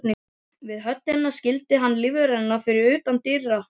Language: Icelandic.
Við höllina skildi hann lífverðina eftir utan dyra.